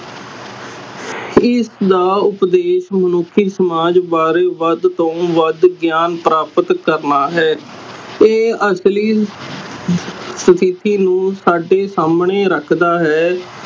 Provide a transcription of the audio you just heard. ਇਸਦਾ ਉਪਦੇਸ਼ ਮੁਨੱਖੀ ਸਮਾਜ ਬਾਰੇ ਵੱਧ ਤੋਂ ਵੱਧ ਗਿਆਨ ਪ੍ਰਾਪਤ ਕਰਨਾ ਹੈ ਇਹ ਅਸਲੀ ਸਥਿਤੀ ਨੂੰ ਸਾਡੇ ਸਾਹਮਣੇ ਰੱਖਦਾ ਹੈ